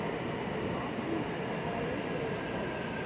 Asírí, hvaða leikir eru í kvöld?